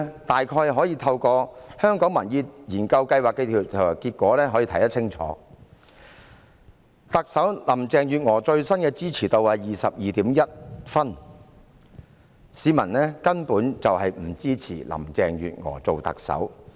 大概可以透過香港民意研究計劃的調查結果看清楚，特首林鄭月娥最新的支持度是 22.1 分，市民根本不支持林鄭月娥做特首。